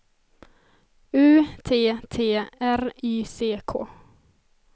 U T T R Y C K